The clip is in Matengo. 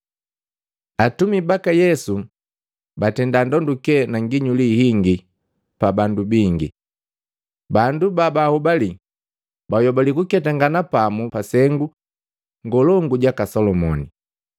Atumi baka Yesu batenda ndonduke na nginyuli hingi pa bandu bingi. Bandu babahobali bayobali kuketangana pamu pa sengu ngolongu jaka Solomoni.